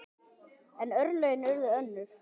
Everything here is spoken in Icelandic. En örlögin urðu önnur.